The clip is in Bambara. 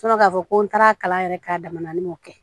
k'a fɔ ko n taara kalan yɛrɛ k'a dama na ne m'o kɛ